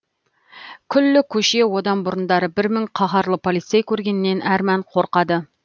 күллі көше одан бұрындары бір мың қаһарлы полицей көргеннен әрман қорқады